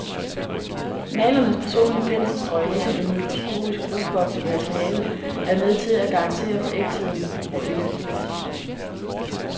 Malernes personlige penselsstrøg, ligesom en mikroskopisk luftboble i materialet, er med til at garantere for ægtheden af det unikke glas.